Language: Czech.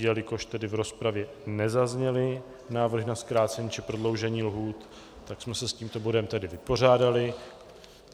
Jelikož tedy v rozpravě nezazněly návrhy na zkrácení či prodloužení lhůt, tak jsme se s tímto bodem tedy vypořádali.